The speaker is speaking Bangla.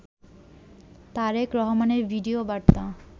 তারেক রহমানের ভিডিও বার্তা